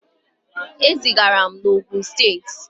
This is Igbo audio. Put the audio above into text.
E zigara m na Ogun steeti.